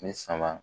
Ni sama